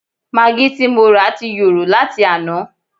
Magí ti morà ti yòrò láti àná